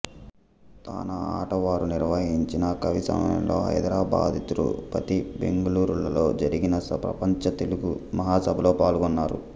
తానా ఆటా వారు నిర్వహించిన కవిసమ్మేళనాలలో హైదరాబాద్తిరుపతిబెంగళూరు లలో జరిగిన ప్రపంచ తెలుగు మహాసభలలో పాల్గొన్నారు